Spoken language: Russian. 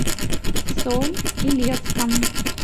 соль илецком